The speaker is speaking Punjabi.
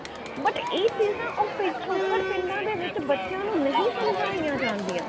but ਇਹ ਚੀਜ ਨਾ ਉਹ ਪਿਛੋਕੜ ਪਿੰਡਾਂ ਦੇ ਵਿੱਚ ਨਹੀਂ ਸਮਝਾਈਆਂ ਜਾਂਦੀਆਂ